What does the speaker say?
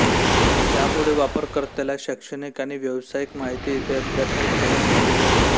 त्यामुळे वापरकर्त्याला शैक्षणिक आणि व्यावसायिक माहिती इथे अद्ययावत ठेवणे गरजेचे असते